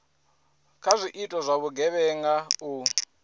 kha zwiito zwa vhugevhenga u